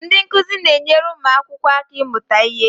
Ndị nkuzi na-enyere ụmụ akwụkwọ aka ịmụta ihe